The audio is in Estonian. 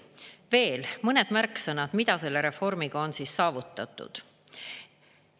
Veel mõned märksõnad, mida selle reformiga on saavutatud.